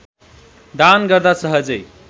दान गर्दा सहजै